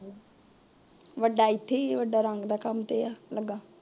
ਵੱਡਾ ਐਥੇ ਈ ਏ ਵੱਡਾ ਰੰਗ ਤੇ ਕੱਮ ਤੇ ਐ ਲੱਗਾ